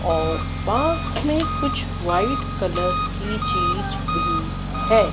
और पास में कुछ व्हाइट कलर की चीज भी है।